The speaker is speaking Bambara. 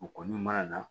U kɔni mana na